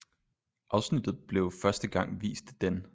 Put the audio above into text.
Afsnittet blev første gang vist d